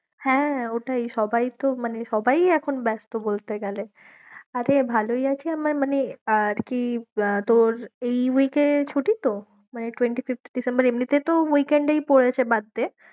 হ্যাঁ, ওটাই সবাই তো মানে সবাই ই এখন ব্যস্ত বলতে গেলে আরে ভালোই আছি, আমার মানে আর কি আহ তোর এই week এ ছুটি তো? মানে twenty-fifth ডিসেম্বরে? এমনিতে তো week end এই পরেছে বাদ দে।